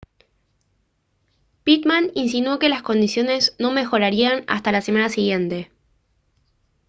pitman insinuó que las condiciones no mejorarían hasta la semana siguiente